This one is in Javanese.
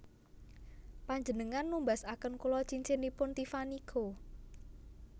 Panjenengan numbasaken kula cincinipun Tiffany Co